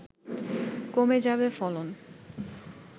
কমে যাবে ফলন